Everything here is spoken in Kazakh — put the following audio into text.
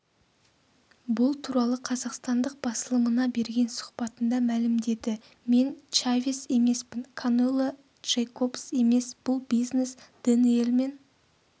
бұл туралы қазақстандық басылымына берген сұхбатында мәлімдеді мен чавес емеспін канело джейкобс емес бұл бизнес дэниелмен